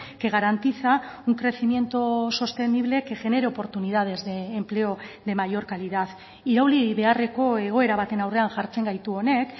que garantiza un crecimiento sostenible que genere oportunidades de empleo de mayor calidad irauli beharreko egoera baten aurrean jartzen gaitu honek